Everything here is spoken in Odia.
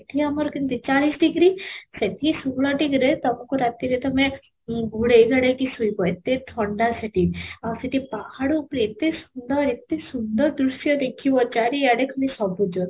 ଏଠି ଆମର କେତେ ଚାଳିଶ ଡ଼ିଗ୍ରୀ ସେଠି ଷୋହଳ ଡ଼ିଗ୍ରୀରେ ତମକୁ ରାତିରେ ତମେ ଓଁ ଘୋଡେଇ ଘାଡେଇ ଶୋଇବ ଏତେ ଥଣ୍ଡା ସେଠି, ଆଉ ସେଠି ପାହାଡ଼ ଉପରେ ଏତେ ସୁନ୍ଦର ଏତେ ସୁନ୍ଦର ଦୃଶ୍ୟ ଦେଖିବ ଚାରି ଆଡେ ଖାଲି ସବୁଜ